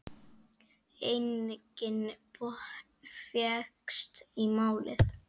Enginn botn fékkst í málið.